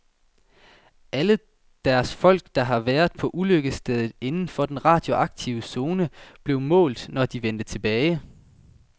Alle deres folk, der havde været på ulykkesstedet inden for den radioaktive zone, blev målt, når de vendte tilbage.